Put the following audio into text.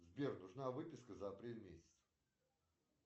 сбер нужна выписка за апрель месяц